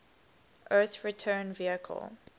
earth return vehicle